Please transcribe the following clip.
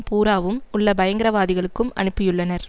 பூராவும் உள்ள பயங்கரவாதிகளுக்கும் அனுப்பியுள்ளனர்